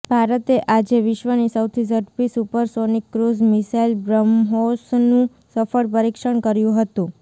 ભારતે આજે વિશ્વની સૌથી ઝડપી સુપરસોનિક ક્રૂઝ મિસાઇલ બ્રહ્મોસનું સફળ પરીક્ષણ કર્યું હતું